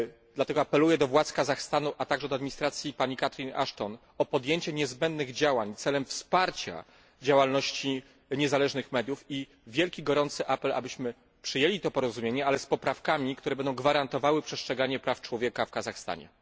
Dlatego apeluję do władz Kazachstanu, a także do administracji Catherine Ashton o podjęcie niezbędnych działań celem wsparcia działalności niezależnych mediów i wielki gorący apel, abyśmy przyjęli to porozumienie, ale z poprawkami, które będą gwarantowały przestrzeganie praw człowieka w Kazachstanie.